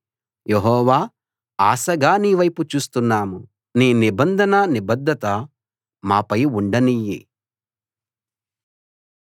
యెహోవా ఆశగా నీవైపు చూస్తున్నాం నీ నిబంధన నిబద్ధత మాపై ఉండనియ్యి